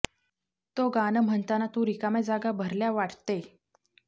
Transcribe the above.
तो गाणं म्हणताना तु रिकाम्या जागा भरल्या वाट्ट्ते